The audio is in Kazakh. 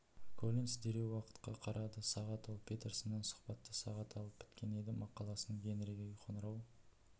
коллинс дереу уақытқа қарады сағат ол петерсоннан сұхбатты сағат алып біткен еді мақаласын генриге қоңырау